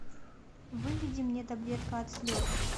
выведи мне таблетка от слез